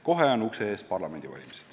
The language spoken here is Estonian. Kohe on ukse ees parlamendivalimised.